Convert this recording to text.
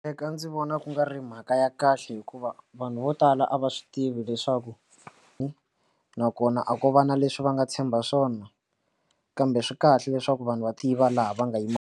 Eka ndzi vona ku nga ri mhaka ya kahle hikuva vanhu vo tala a va swi tivi leswaku hi nakona a ko va na leswi va nga tshemba swona kambe swi kahle leswaku vanhu va tiva laha va nga yima.